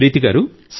ప్రీతి గారూ